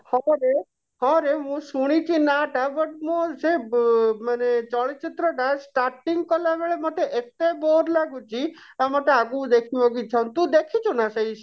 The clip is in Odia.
ହବ ରେ ହଁ ରେ ମୁଁ ଶୁଣିଛି ନା ଟା but ମୁଁ ସେ ବ ମାନେ ଚଳଚିତ୍ର ଟା starting କଲାବେଳେ ମୋତେ ଏତେ bore ଲାଗୁଛି ଆଉ ମୋତେ ଆଗକୁ ଦେଖିବାକୁ ଇଛା ହଉନି ତୁ ଦେଖିଛୁ ନା ସେଇ